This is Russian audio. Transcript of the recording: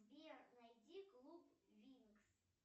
сбер найди клуб винкс